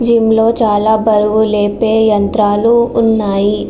Gym లో చాలా బరువు లేపే యంత్రాలు ఉన్నాయి.